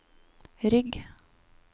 rygg